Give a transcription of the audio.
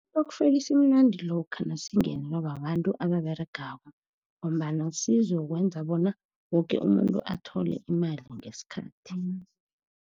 Istokfela simnandi lokha nasingenzela babantu ababeregako, ngombana sizokwenza bona woke umuntu athole imali ngesikhathi.